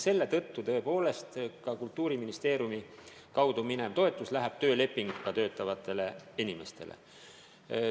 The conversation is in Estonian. Selle tõttu läheb tõepoolest Kultuuriministeeriumi kaudu avaldatav toetus töölepinguga töötavatele inimestele.